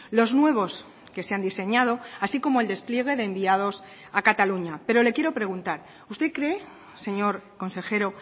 los nuevos que se han diseñado así como el despliegue de enviados a cataluña pero le quiero preguntar usted cree señor consejero